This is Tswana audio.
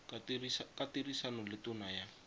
ka tirisano le tona ya